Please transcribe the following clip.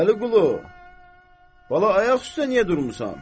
Vəliqulu, bala, ayaq üstə niyə durmusan?